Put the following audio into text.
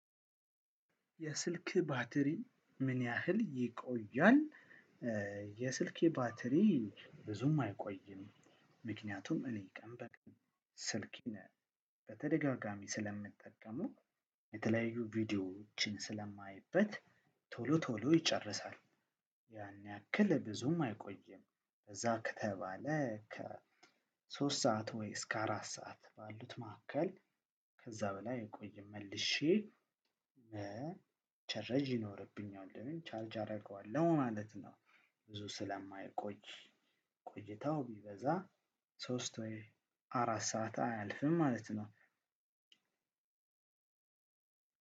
የስልክህ ባትሪ ምን ያህል ይቆያል? የስልኬ ባትሪ ብዙም አይቆይም ምክንያቱም እኔ ቀን በቀን ስልኬን በተደጋጋሚ ስለምጠቀመው የተለያዩ ቪዲዮዎችን ስለማይበት ቶሎ ቶሎ ይጨርሳል። ያን ያክል ብዙም አይቆይም በዛ ከተባለ ከ ሶስት ሰዓት ወይ እስከ አራት ሰዓት ባሉት መካከል ከዛ በላይ አይቆይም። መልሼ መቸረጂ ይኖርብኛል ወይም ቻርጅ አደርገዋለሁ ማለት ነው። ብዙ ስለማይቆይ ቆይታው ቢበዛ ሶስት ወይ አራት ሰዓት አያልፍም ማለት ነው።